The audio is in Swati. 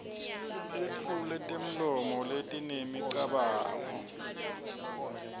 etfule temlomo letinemicabango